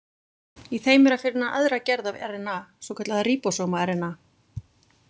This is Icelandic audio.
Í þeim er að finna aðra gerð af RNA, svokallaða ríbósóma-RNA.